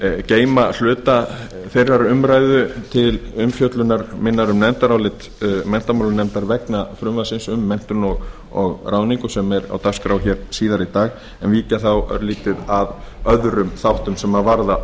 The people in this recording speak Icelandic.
geyma hluta þeirrar umræðu til umfjöllunar minnar um nefndarálit menntamálanefndar vegna frumvarpsins um menntun og ráðningu sem er á dagskrá hér síðar í dag en víkja þá örlítið að öðrum þáttum sem varða